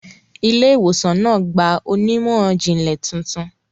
Ilé-ìwòsàn náà gba onímọ̀-ìjìnlẹ̀ tuntun.